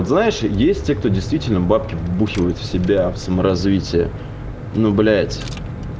знаешь есть те кто действительно бабки вбухивает в себя в саморазвитие ну блять